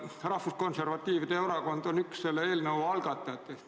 Rahvuskonservatiivide erakond on üks selle eelnõu algatajatest.